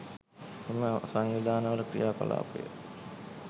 එම සංවිධානවල ක්‍රියා කලාපය